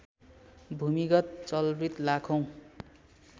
भूमिगत जलभृत लाखौँ